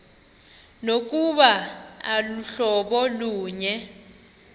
nokuba aluhlobo lunye